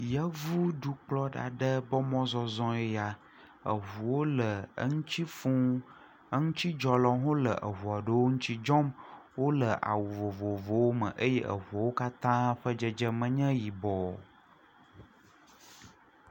Yevudukplɔla aɖe ƒe mɔzɔzɔe ya. Eŋuwo le eŋutsi fũu. Eŋutsɔdzɔlawo hã le eŋu aɖewo ŋutsi dzɔm. Wo le awu vovovowo me eye eŋuawo katã ƒe dzedzeme nye yibɔ.